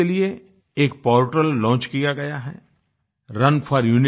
इसके लिए एक पोर्टल लॉन्च किया गया है runforunitygovin